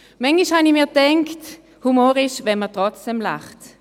Manchmal habe ich mir gedacht, Humor ist, wenn man trotzdem lacht.